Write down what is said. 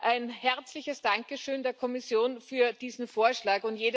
Ein herzliches Dankeschön der Kommission für diesen Vorschlag!